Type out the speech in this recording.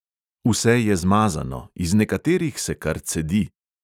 Vse je zmazano, iz nekaterih se kar cedi ...